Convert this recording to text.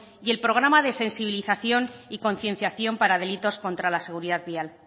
y el programa de sensibilización y concienciación para delitos contra la seguridad vial